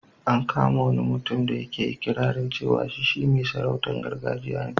An kama wani mutum da yake iƙirarin cewa shi mai sarautar gargajiya ne.